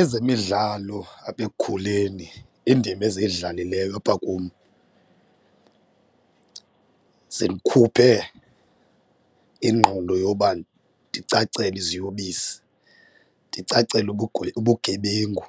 Ezemidlalo apha ekukhuleni indima eziyidlalileyo apha kum zindikhuphe ingqondo yoba ndicacele iziyobisi, ndicacele ubugebengu